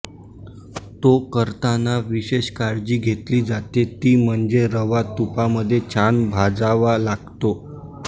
तो करताना विशेष काळजी घेतली जाते ती म्हणजे रवा तुपामध्ये छान भाजावा लागतो